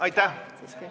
Aitäh!